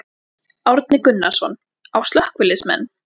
Árni Gunnarsson: Á slökkviliðsmenn?